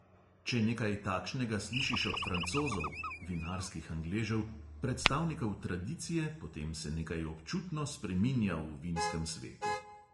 Če nekaj takšnega slišiš od francozov (vinarskih angležev), predstavnikov tradicije, potem se nekaj občutno spreminja v vinskem svetu.